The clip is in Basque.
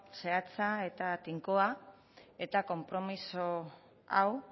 zehatza eta tinkoa eta konpromiso hau